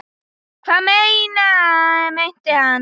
Hvað meinti hann?